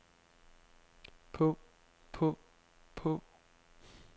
på på på